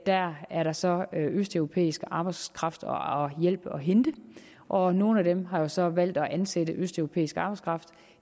der er så østeuropæisk arbejdskraft og hjælp at hente og nogle har så valgt at ansætte østeuropæisk arbejdskraft